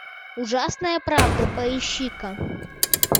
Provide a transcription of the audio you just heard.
ужасная правда поищи ка